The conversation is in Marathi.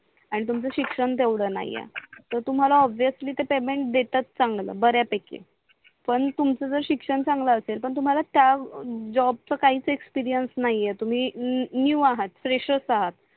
आणि तुमच शिक्षण तेवड नाही आहे तर तुम्हाला अप बेसली ते पेमेंट देतात चांगल बऱ्या पैकी पण तुमच जर शिक्षण चांगल असेल पण तुम्हाला त्या जॉबच काहीच एक्सपिरियंस नाही आहेत तुम्ही न्यू आहात FRESHER आहात